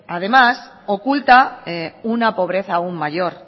además oculta una pobreza aun mayor